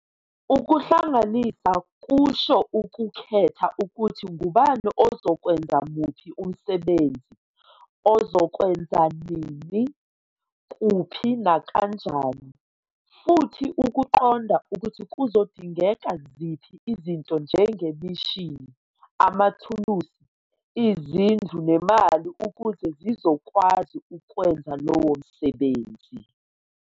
Ukuhlanganisa kusho ukukhetha ukuthi ngubani ozokwenza muphi umsebenzi, uzowenza nini, kuphi nakanjani, futhi ukuqonda ukuthi kuzodingeka ziphi izinto njengemishini, amathulusi, izindlu nemali ukuze sizokwazi ukwenza lowo msebenzi.